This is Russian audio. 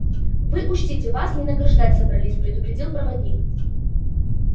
вы учтите вас не награждать собрались предупредил проводник